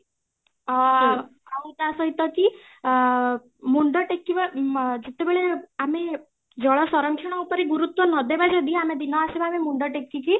ଅ ଆଉ ତା ସହିତ କି ଅ ମୁଣ୍ଡ ଟେକିବା, ଯେତେବେଳେ ଆମେ ଜଳ ସଂରକ୍ଷଣ ଉପରେ ଗୁରୁତ୍ବ ନଦେବା ଯଦି ଆମେ ବିନା ବି ମୁଣ୍ଡ ଟେକିକି